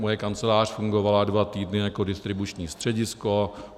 Moje kancelář fungovala dva týdny jako distribuční středisko.